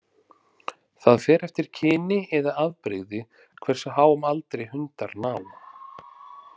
Það fer eftir kyni eða afbrigði hversu háum aldri hundar ná.